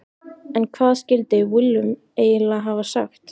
En hvað skildi Willum eiginlega hafa sagt?